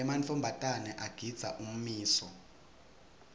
emantfombatana agindza ummiso